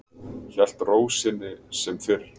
Hélt ró sinni sem fyrr.